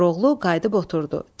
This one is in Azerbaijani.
Koroğlu qayıdıb oturdu.